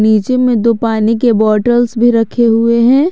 नीचे में दो पानी के बॉटल्स भी रखे हुए हैं।